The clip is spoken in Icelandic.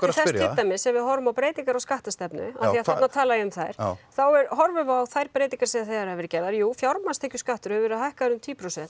dæmis þegar við horfum á breytingar á skattastefnu af því þarna talaði ég um þær þá horfum við þær breytingar sem þegar hafa verið gerðar jú fjármálstekjuskattur hefur verið hækkaður í tíu prósent